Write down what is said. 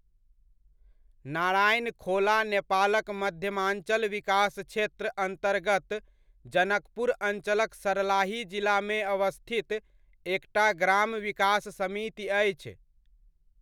नारायणखोला नेपालक मध्यमाञ्चल विकास क्षेत्र अन्तर्गत जनकपुर अञ्चलक सर्लाही जिलामे अवस्थित एकटा ग्राम विकास समिति अछि।